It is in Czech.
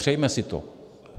Přejme si to.